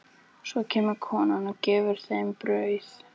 Svo kemur konan og gefur þeim brauð.